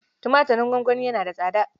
Tumatirin gongoni yana da tsada